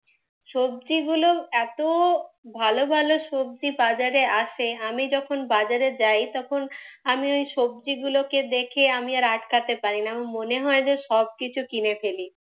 সবজিগুলো এতো ভালো ভালো সবজি বাজারে আসে, আমি যখন বাজারে যাই আমি ওই সবজিগুলোকে দেখে আমি আর আটকাতে পারিনা, আমার মনে হয় সবকিছু কিনে ফেলি।